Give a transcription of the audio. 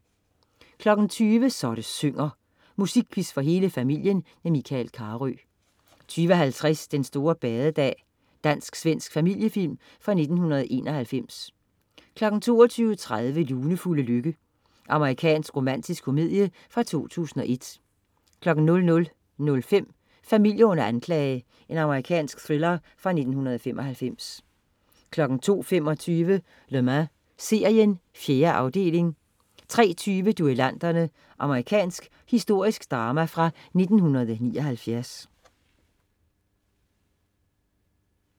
20.00 Så det synger. Musikquiz for hele familien. Michael Carøe 20.50 Den store badedag. Dansk-svensk familiefilm fra 1991 22.30 Lunefulde lykke. Amerikansk romantisk komedie fra 2001 00.05 Familie under anklage. Amerikansk thriller fra 1995 02.25 Le Mans serien. 4. afdeling 03.20 Duellanterne. Amerikansk historisk drama fra 1979.